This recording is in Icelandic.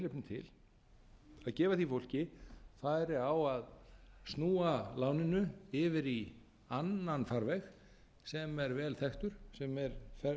veð gefur tilefni til að gefa því fólki færi á að snúa láninu yfir í annan farveg sem er vel þekktur sem er